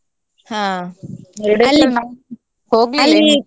ಹಾ.